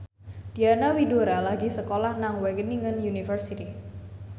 Diana Widoera lagi sekolah nang Wageningen University